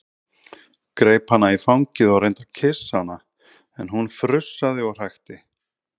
Greip hana í fangið og reyndi að kyssa hana en hún frussaði og hrækti.